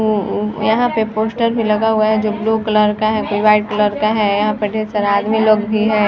यहाँ पे पोस्टर भी लगा हुआ है जो ब्लू कलर का है वाईट कलर का है यहाँ पे ढेर सारे आदमी लोग भी है।